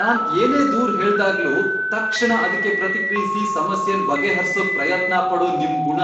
ನಾನ್ ಏನೇ ದೂರ್ ಹೇಳ್ದಾಗ್ಲೂ ತಕ್ಷಣ ಅದಕ್ಕೆ ಪ್ರತಿಕ್ರಿಯ್ಸಿ ಸಮಸ್ಯೆನ್ ಬಗೆಹರ್ಸೋಕ್ ಪ್ರಯತ್ನ ಪಡೋ ನಿಮ್ ಗುಣ